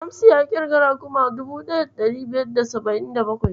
Shamsu ya ƙirga raguma 1577.